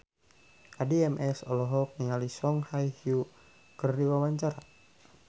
Addie MS olohok ningali Song Hye Kyo keur diwawancara